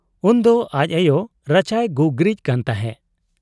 ᱩᱱᱫᱚ ᱟᱡ ᱟᱭᱚ ᱨᱟᱪᱟᱭ ᱜᱩᱜᱨᱤᱡ ᱠᱟᱱ ᱛᱟᱦᱮᱸ ᱾